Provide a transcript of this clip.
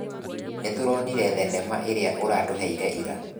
Nĩtũronire thenema ĩrĩa ũratũheire ira